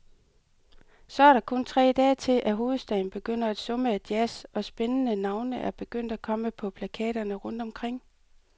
Så er der kun tre dage til, at hovedstaden begynder at summe af jazz, og spændende navne er begyndt at komme på plakaterne rundt omkring.